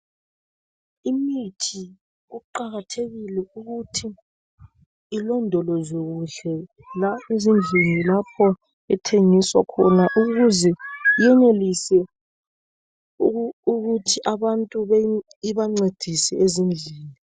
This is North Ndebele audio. Imithi kuqakathekile ukuthi ilondolozwe kuhle ezindlini lapho ethengiswa khona ukuze yenelise ukuthi abantu ibancedise ezindlini .